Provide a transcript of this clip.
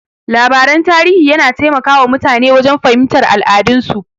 Labaran tarihi yana taimaka wa mutane wajen fahimtar al'adun su.